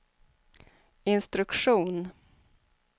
instruktion